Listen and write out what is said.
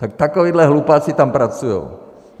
Tak takovýhle hlupáci tam pracujou.